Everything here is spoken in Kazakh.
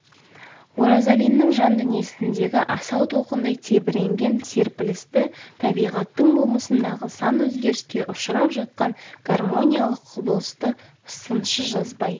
оразалиннің жан дүниесіндегі асау толқындай тебіренген серпілісті табиғаттың болмысындағы сан өзгеріске ұшырап жатқан гармониялық құбылысты сыншы жазбай